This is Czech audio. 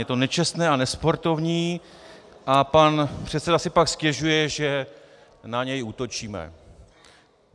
Je to nečestné a nesportovní a pan předseda si pak stěžuje, že na něj útočíme.